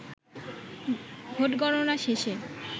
vote গণনা শেষে